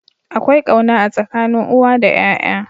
Akwai kauna a tsakanin uwa da yaya.